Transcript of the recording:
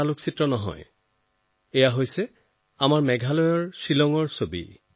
কিন্তু কথাটো তেনে নহয় এইবোৰ জাপানৰ ছবি নহয় এইবোৰ আমাৰ মেঘালয়ৰ শ্বিলঙৰ ছবি